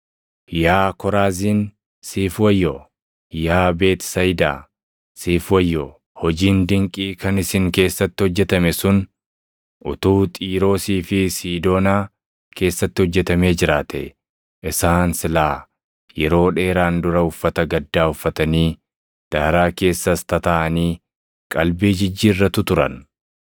“Yaa Koraaziin siif wayyoo! Yaa Beetisayidaa siif wayyoo! Hojiin dinqii kan isin keessatti hojjetame sun utuu Xiiroosii fi Siidoonaa keessatti hojjetamee jiraatee isaan silaa yeroo dheeraan dura uffata gaddaa uffatanii, daaraa keessas tataaʼanii qalbii jijjiirratu turan.